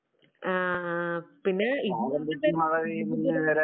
ആഹ് പിന്നെ